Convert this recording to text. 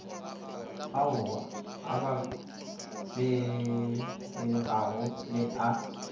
ao a bapetpegago le a